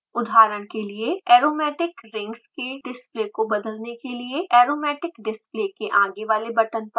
उदाहरण के लिए – एरोमेटिक रिंग्स के डिस्प्ले को बदलने के लिए aromatic display के आगे वाले बटन पर क्लिक करें